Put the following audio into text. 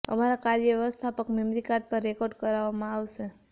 અમારા કાર્ય વ્યવસ્થાપક મેમરી કાર્ડ પર રેકોર્ડ કરવામાં આવશે